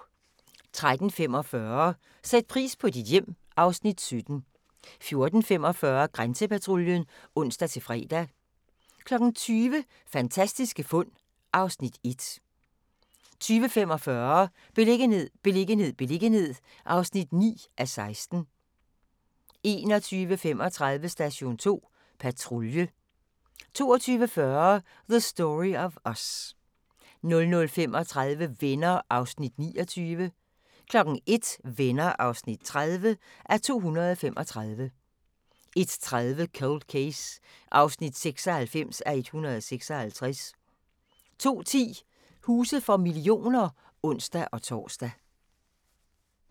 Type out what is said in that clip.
13:45: Sæt pris på dit hjem (Afs. 17) 14:45: Grænsepatruljen (ons-fre) 20:00: Fantastiske fund (Afs. 1) 20:45: Beliggenhed, beliggenhed, beliggenhed (9:16) 21:35: Station 2 Patrulje 22:40: The Story of Us 00:35: Venner (29:235) 01:00: Venner (30:235) 01:30: Cold Case (96:156) 02:10: Huse for millioner (ons-tor)